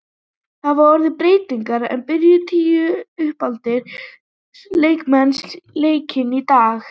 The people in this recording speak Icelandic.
Það hafa orðið breytingar en það byrjuðu tíu uppaldir Leiknismenn leikinn í dag.